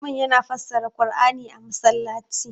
liman yana fassara qur'ani a masallaci